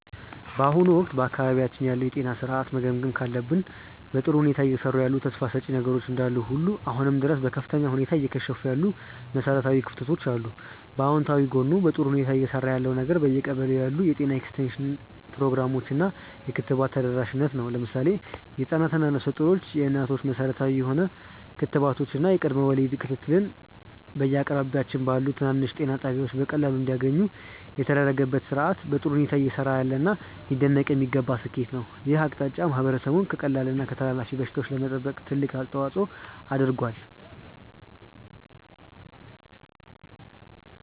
በአሁኑ ወቅት በአካባቢያችን ያለውን የጤና ሥርዓት መገምገም ካለብን፣ በጥሩ ሁኔታ እየሰሩ ያሉ ተስፋ ሰጪ ነገሮች እንዳሉ ሁሉ አሁንም ድረስ በከፍተኛ ሁኔታ እየከሸፉ ያሉ መሠረታዊ ክፍተቶች አሉ። በአዎንታዊ ጎኑ በጥሩ ሁኔታ እየሰራ ያለው ነገር በየቀበሌው ያሉ የጤና ኤክስቴንሽን ፕሮግራሞች እና የክትባት ተደራሽነት ነው። ለምሳሌ ህፃናት እና ነፍሰ ጡር እናቶች መሠረታዊ የሆኑ ክትባቶችን እና የቅድመ ወሊድ ክትትልን በየአቅራቢያቸው ባሉ ትናንሽ ጤና ጣቢያዎች በቀላሉ እንዲያገኙ የተደረገበት ሥርዓት በጥሩ ሁኔታ እየሰራ ያለና ሊደነቅ የሚገባው ስኬት ነው። ይህ አቅጣጫ ማህበረሰቡን ከቀላል እና ከተላላፊ በሽታዎች ለመጠበቅ ትልቅ አስተዋፅዖ አድርጓል።